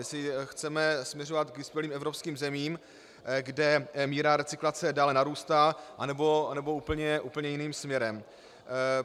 Jestli chceme směřovat k vyspělým evropským zemím, kde míra recyklace dále narůstá, anebo úplně jiným směrem.